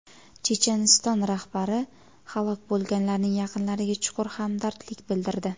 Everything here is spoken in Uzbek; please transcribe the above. Checheniston rahbari halok bo‘lganlarning yaqinlariga chuqur hamdardlik bildirdi.